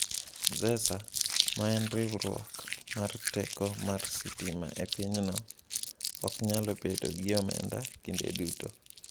Zesa, ma en riwruok mar teko mar sitima e pinyno, ok nyal bedo gi omenda kinde duto.